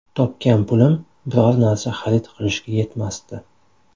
Topgan pulim biror narsa xarid qilishga yetmasdi.